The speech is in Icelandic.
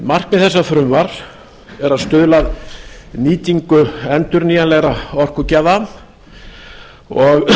markmið þessa frumvarps er að stuðla að nýtingu endurnýjanlegra orkugjafa og